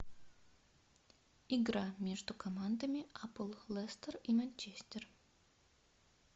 игра между командами апл лестер и манчестер